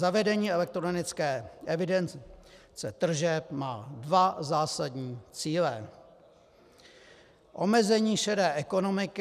Zavedení elektronické evidence tržeb má dva zásadní cíle: Omezení šedé ekonomiky...